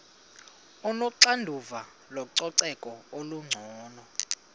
onoxanduva lococeko olungcono